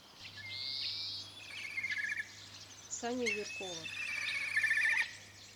саню юркова